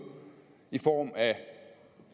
i form af